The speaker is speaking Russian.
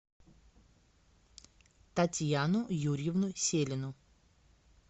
татьяну юрьевну селину